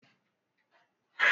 ọ̀pá tí wọ́n rà ti gùn jù